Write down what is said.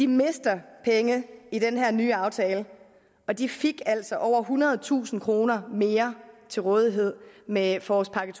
miste penge i den her nye aftale og de fik altså over ethundredetusind kroner mere til rådighed med forårspakke